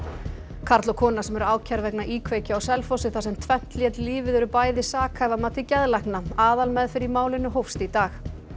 karl og kona sem eru ákærð vegna íkveikju á Selfossi þar sem tvennt lét lífið eru bæði sakhæf að mati geðlækna aðalmeðferð í málinu hófst í dag